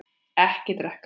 Ekki drekka.